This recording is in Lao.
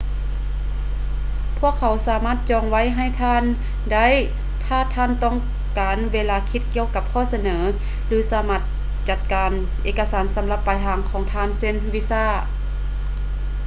ພວກເຂົາສາມາດຈອງໄວ້ໃຫ້ທ່ານໄດ້ຖ້າທ່ານຕ້ອງການເວລາຄິດກ່ຽວກັບຂໍ້ສະເໜີ ຫຼື ສາມາດຈັດການເອກະສານສຳລັບປາຍທາງຂອງທ່ານ ເຊັ່ນ: ວີຊາ